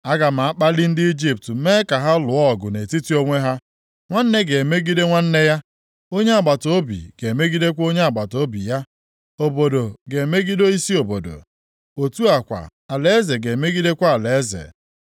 “Aga m akpali ndị Ijipt mee ka ha lụọ ọgụ nʼetiti onwe ha. Nwanne ga-emegide nwanne ya, onye agbataobi ga-emegidekwa onye agbataobi ya; obodo ga-emegide isi obodo; otu a kwa, alaeze ga-emegidekwa alaeze.